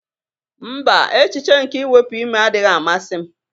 Mba, echiche nke iwepuime adịghị amasị m